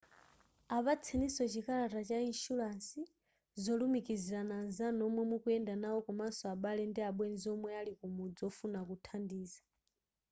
apatseniso chikalata cha inshuransi/ zolumikizirana anzanu omwe mukuyenda nawo komaso abale ndi abwenzi omwe ali kumudzi ofuna kuthandiza